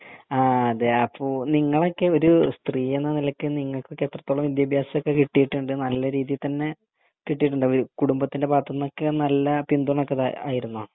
ആഹ് അതെ അപ്പൊ നിങ്ങളൊക്കെ ഒരു സ്ത്രീ എന്ന നിലക്ക് നിങ്ങക്കൊക്കെ എത്രത്തോളം വിദ്യഭ്യാസം ഒക്കെ കിട്ടിട്ടുണ്ട് നല്ല രീതി തന്നെ കിട്ടിട്ടുണ്ടോ ഈ കുടുംബത്തിൻ്റെ ഭാഗത്തുന്നൊക്കെ നല്ല പിന്തുണ ഒക്കെ ആയിരുന്നോ